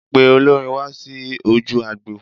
Pe olórin wá sí ojú agbo.